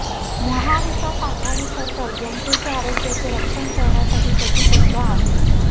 महाविकास आघाडी सरकार जनतेच्या आरोग्याचे रक्षण करण्यासाठी कटिबद्ध आहे